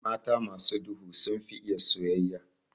Mata masu duhu sunfi iya soyayya.